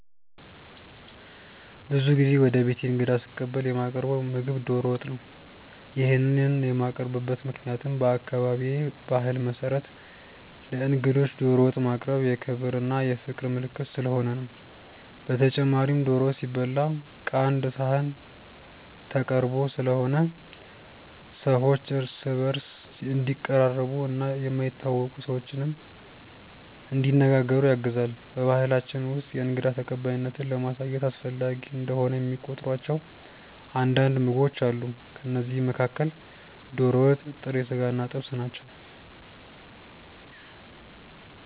ብዙ ጊዜ ወደ ቤቴ እንግዳ ስቀበል የማቀርው ምግብ ዶሮ ወጥ ነው። ይሄንን የማቀርብበት ምክንያትም በአካባቢዬ ባህል መሰረት ለእንግዶች ዶሮ ወጥ ማቅረብ የክብር እና የፍቅር ምልክት ስለሆነ ነው። በተጨማሪም ዶሮ ወጥ ሲበላ ቀአንድ ሰሀን ተቀርቦ ስለሆነ ሰዎች እርስ በእርስ እንዲቀራረቡ እና የማይተዋወቁ ሰዎችንም እንዲነጋገሩ ያግዛል። በባሕላችን ውስጥ የእንግዳ ተቀባይነትን ለማሳየት አስፈላጊ እንደሆነ የሚቆጥሯቸው አንዳንድ ምግቦች አሉ። ከእነዚህም መካከል ዶሮ ወጥ፣ ጥሬ ስጋ እና ጥብስ ናቸው።